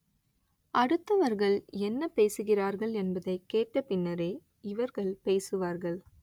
அடுத்தவர்கள் என்ன பேசுகிறார்கள் என்பதைக் கேட்ட பின்னரே இவர்கள் பேசுவார்கள்